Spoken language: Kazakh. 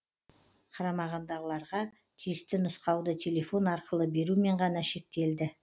қарамағындағыларға тиісті нұсқауды телефон арқылы берумен ғана шектелді